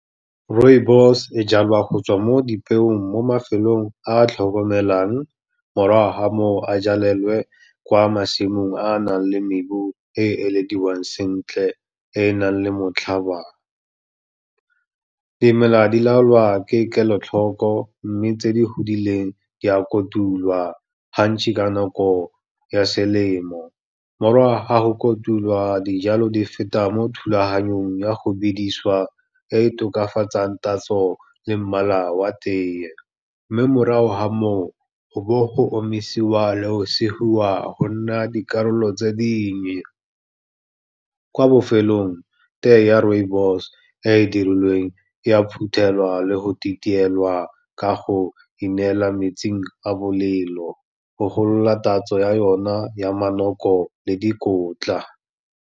Rooibos e jalwa go tswa mo dipeong mo mafelong a a tlhokomelang, morago ga moo a jalelwe kwa masimong a a nang le mmubu e ilediwang sentle e e nang le motlhaba. Dimela di laolwa ke kelotlhoko, mme tse di godileng di a kotulwa, ka nako ya selemo, morago ga go kotulwa dijalo di feta mo thulaganyong ya go bedisiwa e tokafatsang tatso le mmala wa teye, mme morago ga moo, go bowe go omisiwa le go sigiwa go nna dikarolo tse dingwe. Kwa bofelong teye ya rooibos e e dirilweng, e a phuthelwa le go titielwa ka go ineelela mo metsing a bolelo, go golola tatso ya yona ya manoko le dikotla.